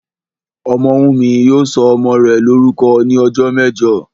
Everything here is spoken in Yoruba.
Ọmọ́wùnmí yóò sọ ọmọ rẹ̀ lórúkọ ní ọjọ́ mẹ́jọ